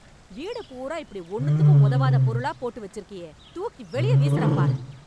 வீடு பூரா இப்படி ஒண்ணுத்துக்கும் உதவாத பொருளா போட்டு வச்சுருக்கியே, தூக்கி வெளிய வீசுறேன் பாரு.